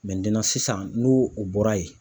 sisan n'o o bɔra yen